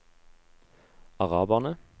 araberne